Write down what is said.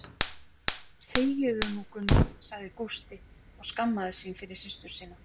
Þegiðu nú, Gunna sagði Gústi og skammaðist sín fyrir systur sína.